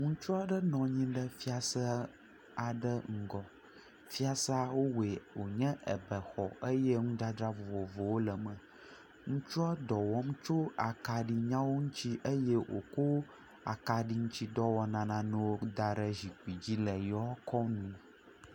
Ŋutsu aɖe nɔ anyi ɖe fiase aɖe ŋgɔ, fiasea wowɔe wonye ebexɔ eye enu dzadzra vovovowo le eme. Ŋutsua dɔ wɔm tso akaɖinyawo ŋuti eye wòkɔ akaɖi ŋuti dɔwɔnananewo da ɖe zikpui dzi le eƒe akɔme.